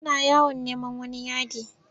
Suna yawon neman wani yadi.